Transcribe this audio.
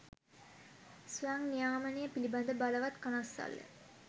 ස්වයං නියාමනය පිලිබඳ බලවත් කනස්සල්ල